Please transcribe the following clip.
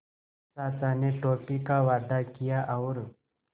चाचा ने टॉफ़ी का वादा किया और